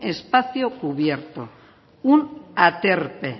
espacio cubierto un aterpe